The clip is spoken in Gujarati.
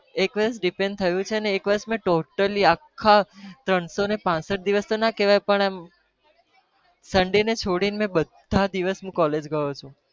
એક વર્ષ detain થયો છે અને એક વર્ષ મેં totally આખા ત્રણસો ને પાસઠ દિવસ તો ના કહેવાય પણ એમ sunday ને છોડીને મેં બધા દિવસ હું college ગયો છુ.